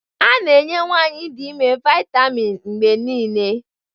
A na-enye nwanyị dị ime vitamin mgbe niile